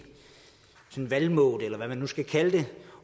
valgmode eller hvad man nu skal kalde det